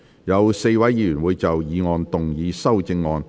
有4位議員會就議案動議修正案。